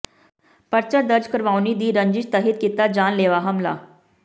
ਪਰਚਾ ਦਰਜ ਕਰਵਾੳਣੀ ਦੀ ਰੰਜਿਸ਼ ਤਹਿਤ ਕੀਤਾ ਜਾਨਲੇਵਾ ਹਮਲਾ